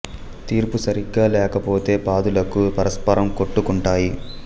తీర్పు సరిగా లేక పోతె పాదులకు పరస్పరం కొట్టు కుంటాయి